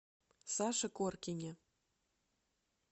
саше коркине